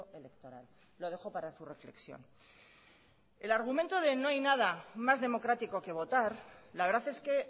electoral lo dejo para su reflexión el argumento de no hay nada más democrático que votar la verdad es que